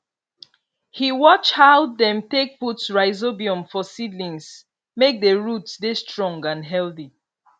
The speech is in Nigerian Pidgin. he watch how dem take put rhizobium for seedlings make di root dey strong and healthy